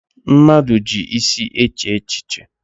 Mmadụ ji isi eche echiche.